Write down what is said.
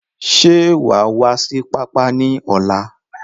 Ṣé wa wá sí pápá ni ọ̀la?